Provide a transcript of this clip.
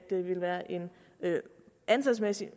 der antalsmæssigt